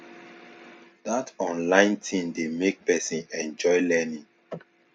that online thing dey make person enjoy learning